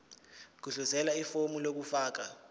gudluzela ifomu lokufaka